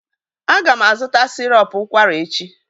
Aga m azụta sịrọp ụkwara echi